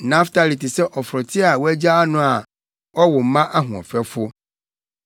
“Naftali te sɛ ɔforote a wɔagyaa no a ɔwo mma ahoɔfɛfo.